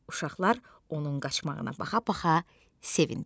Uşaqlar onun qaçmağına baxa-baxa sevindilər.